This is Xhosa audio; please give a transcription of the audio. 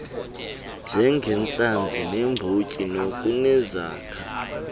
njengentlanzi neembotyi nokunezakha